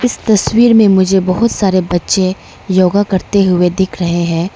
इस तस्वीर में मुझे बहुत सारे बच्चे योगा करते हुए दिख रहे है।